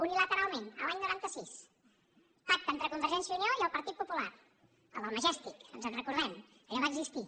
unila·teralment l’any noranta sis pacte entre convergència i unió i el partit popular el del majestic ens en recordem allò va existir